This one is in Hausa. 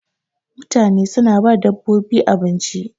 mutane suna ba dabbobin abinci